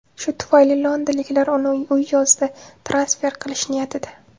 Shu tufayli londonliklar uni u yozda transfer qilish niyatida.